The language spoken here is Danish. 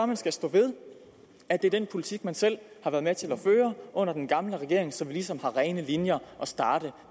man skal stå ved at det er den politik man selv har været med til at føre under den gamle regering så vi ligesom har rene linjer at starte